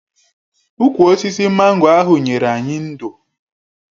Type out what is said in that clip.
Ụkwụ osisi mango ahụ nyere anyị ndò.